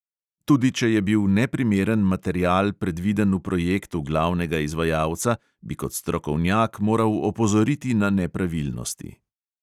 Tudi če je bil neprimeren material predviden v projektu glavnega izvajalca, bi kot strokovnjak moral opozoriti na nepravilnosti!